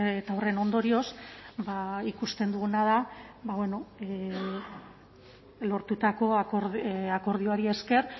eta horren ondorioz ba ikusten duguna da ba bueno lortutako akordioari esker